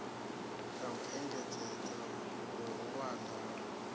ya u engedzedza vhuhulwane ha